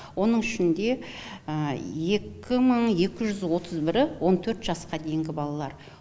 оның ішінде екі мың екі жүз отыз бірі он төрт жасқа дейінгі балалар